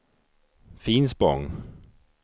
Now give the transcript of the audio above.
Finspång